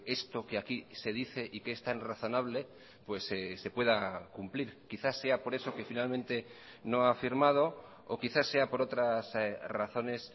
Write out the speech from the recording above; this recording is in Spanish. esto que aquí se dice y que es tan razonable pues se pueda cumplir quizás sea por eso que finalmente no ha firmado o quizás sea por otras razones